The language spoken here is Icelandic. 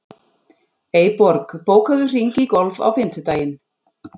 Eyborg, bókaðu hring í golf á fimmtudaginn.